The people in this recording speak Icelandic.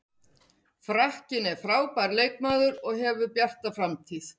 Frakkinn er frábær leikmaður og hefur bjarta framtíð.